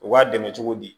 U b'a dɛmɛ cogo di